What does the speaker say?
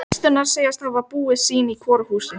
Systurnar segjast hafa búið sín í hvoru húsi.